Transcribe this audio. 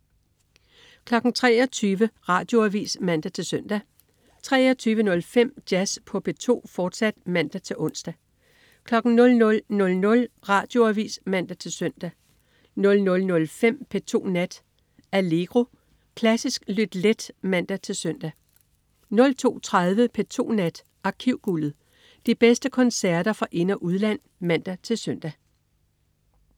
23.00 Radioavis (man-søn) 23.05 Jazz på P2, fortsat (man-ons) 00.00 Radioavis (man-søn) 00.05 P2 Nat. Allegro. Klassisk lyt let (man-søn) 02.30 P2 Nat. Arkivguldet. De bedste koncerter fra ind- og udland (man-søn)